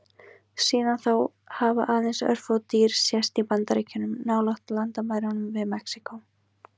Síðan þá hafa aðeins örfá dýr sést í Bandaríkjunum, nálægt landamærunum við Mexíkó.